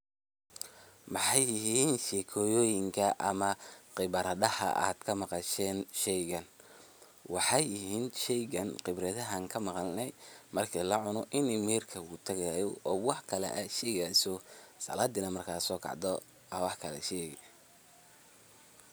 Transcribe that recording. Maxay yihiin sheekooyoyinka ama khibradaha aad ka maqasheen sheygaan, waxey yihiin khibradaha aan ka maqalnee, marki lacuno ini miyirka kutagayo o waax kalee aad shegii hayso o salaadi marki aad sokacdo aa waax kalee shegi.